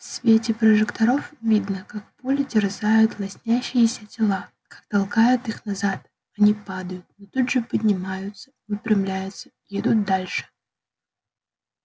в свете прожекторов видно как пули терзают лоснящиеся тела как толкают их назад они падают но тут же поднимаются выпрямляются и идут дальше